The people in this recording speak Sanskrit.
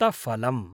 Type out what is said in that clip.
रक्तफलम्